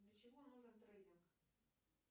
для чего нужен трейдинг